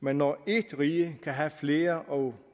men når ét rige kan have flere og